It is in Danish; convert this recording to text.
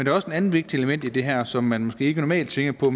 er også et andet vigtigt element i det her som man måske ikke normalt tænker på